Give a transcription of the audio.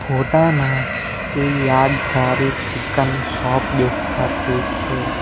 ફોટા માં એ યાદગારી ચિકન શોપ દેખાતી છે.